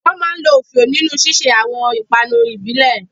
Wọ́n máa ń lo òfíò nínú ṣíṣe àwọn ìpanu ìbílẹ̀